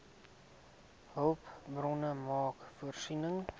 hulpbronne maak voorsiening